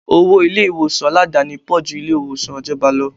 Owó ilé ìwòsàn Aládàáni pò ju ilé ìwòsàn ìjọba lọ.